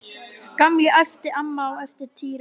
Gamli! æpti amma á eftir Týra.